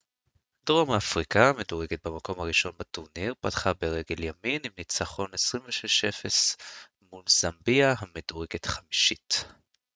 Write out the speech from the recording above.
דרום אפריקה המדורגת במקום הראשון בטורניר פתחה ברגיל ימין עם ניצחון 26 - 00 נוח מול זמביה המדורגת חמישית